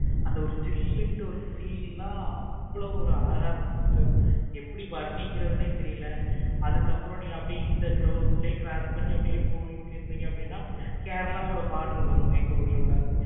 அந்த ஒரு ஜில்லுண்டு feel அவ்வளோ ஒரு அழகா இருக்கும். எப்படி வர்ணிக்கிறதே தெரியல. அதுக்கு அப்பறம் நீங்க இந்த அப்படியே போய்ட்டு இருந்திங்கனா Kerala ஓட border வரும். எங்க ஊரு ஓட